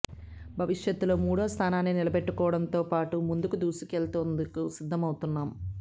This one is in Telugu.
భవిష్యత్తులో మూడో స్థానాన్ని నిలబెట్టుకోవడంతో పాటు ముందుకు దూసుకెళ్లేందుకు సిద్ధమవుతాం